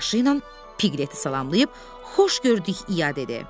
Başı ilə Piqleti salamlayıb, Xoş gördük iya dedi.